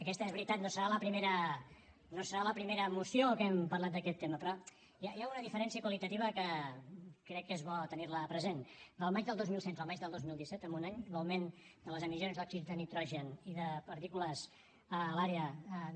aquesta és veritat no serà la primera moció que hem parlat d’aquest tema però hi ha una diferència qualitativa que crec que és bo tenir la present del maig del dos mil setze al maig del dos mil disset en un any l’augment de les emissions d’òxids de nitrogen i de partícules a l’àrea de